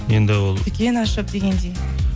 енді ол дүкен ашып дегендей